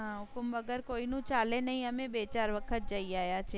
હુકુમ વગર કોઈ નું ચાલે નહીં. અમે બે ચાર વખત જઈ આયા છે. હા